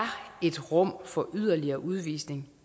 et rum for yderligere udvisninger